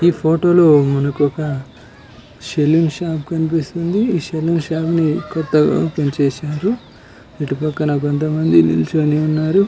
ఈ ఫోటో లో మనకి ఒక సెలూన్ షాప్ కనిపిస్తుంది ఈ సెలూన్ షాప్ ని కొత్తగా ఓపెన్ చేసారు ఇటు పక్కన కొంతమంది నిల్చుని ఉన్నారు